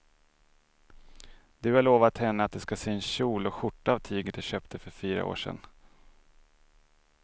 Du har lovat henne att du ska sy en kjol och skjorta av tyget du köpte för fyra år sedan.